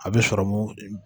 A bɛ sɔrɔ mun